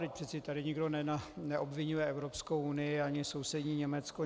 Vždyť přece tady nikdo neobviňuje Evropskou unii ani sousední Německo.